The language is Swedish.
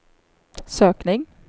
sökning